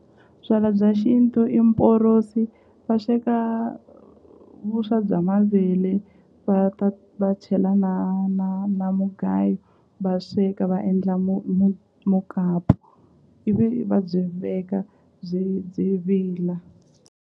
Byala bya xintu i mporosi va sweka vuswa bya mavele va ta va chela na na na mugayo va sweka va endla mukapu ivi va byi veka byi byi vila.